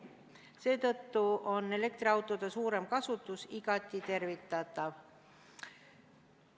Seetõttu on elektriautode suurem kasutus igati tervitatav.